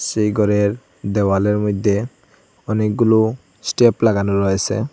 সেই ঘরের দেওয়ালের মইধ্যে অনেকগুলো স্টেপ লাগানো রয়েসে ।